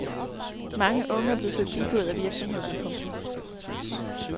Mange unge er blevet forbigået af virksomhederne. punktum